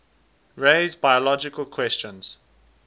raise biological questions